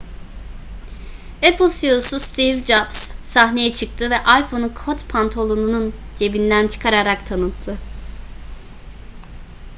apple ceo'su steve jobs sahneye çıktı ve iphone'u kot pantolonunun cebinden çıkararak tanıttı